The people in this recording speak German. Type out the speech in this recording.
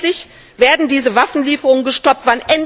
Wann endlich werden diese Waffenlieferungen gestoppt?